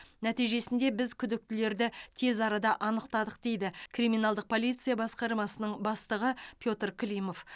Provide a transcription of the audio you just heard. нәтижесінде біз күдіктілерді тез арада анықтадық дейді криминалдық полиция басқармасының бастығы петр климов